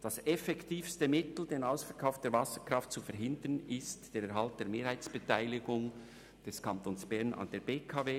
Das effektivste Mittel, um den Ausverkauf der Wasserkraft zu verhindern, ist der Erhalt der Mehrheitsbeteiligung des Kantons Bern an der BKW.